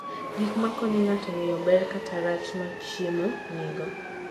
Gik makonyo ng'ato ng'eyo ber kata rach ma chiemo nigo.